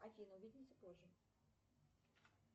афина увидимся позже